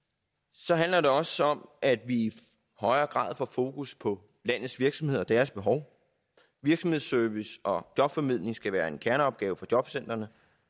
så handler det også om at vi i højere grad får fokus på landets virksomheder og deres behov virksomhedsservice og jobformidling skal være en kerneopgave for jobcentrene